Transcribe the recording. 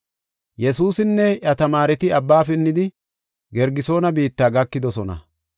Yesuusinne iya tamaareti abba pinnidi, Gergesoone biitta gakidosona.